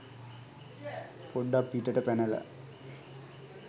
පොඩ්ඩක් පිටට පැනලා